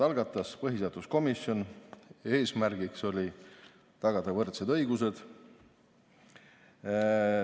Algatas selle põhiseaduskomisjon, eesmärgiks oli tagada võrdsed õigused.